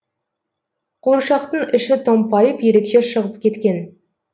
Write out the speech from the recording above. қуыршақтың іші томпайып ерекше шығып кеткен